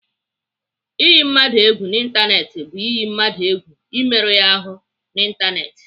Iyi mmadụ egwu n'Ịntanetị bụ iyi mmadụ egwu imerụ ya ahụ n'Ịntanetị.